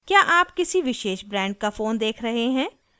क्या आप किसी विशेष ब्रांड का फ़ोन देख रहे हैं